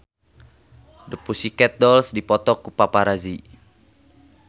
The Pussycat Dolls dipoto ku paparazi